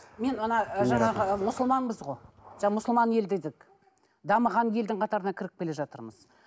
мен ы жаңағы ы мұсылманбыз ғой мұсылман ел дедік дамыған елдің қатарына кіріп келе жатырмыз